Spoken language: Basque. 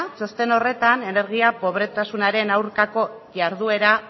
txosten horretan energia probetasunaren aurkako jarduera